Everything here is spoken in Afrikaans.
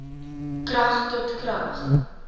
krag tot krag